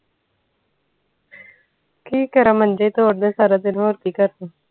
ਠੀਕ ਆ ਰਮਨਜੀਤ ਹੋਰ ਦਸ ਸਾਰਾ ਦਿਨ ਹੋਰ ਕਿ ਕਰਦੇ ਰਹੀ